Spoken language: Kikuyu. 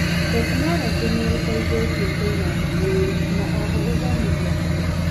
tekinorojĩ nĩĩteithĩtie kũiga ndũmĩrĩri na oho gũthomithia andũ.